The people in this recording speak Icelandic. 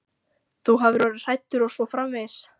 Þú hafir orðið hræddur og svo framvegis.